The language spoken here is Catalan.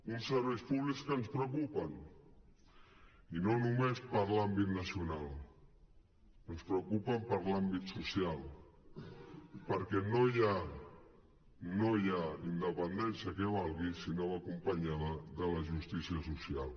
uns serveis públics que ens preocupen i no només per l’àmbit nacional ens preocupen per l’àmbit social perquè no hi ha independència que valgui si no va acompanyada de la justícia social